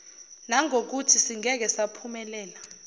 ngangokuthi singeke saphumelela